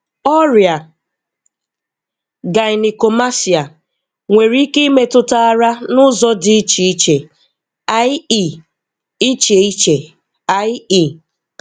Ọrịa Gynecomastia nwere ike imetụta ara n'ụzọ dị iche iche i.e. iche iche i.e.